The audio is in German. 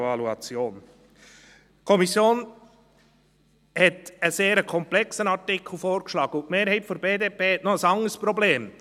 Die Kommission hat einen sehr komplexen Artikel vorgeschlagen, und die Mehrheit der BDP hat noch ein anderes Problem.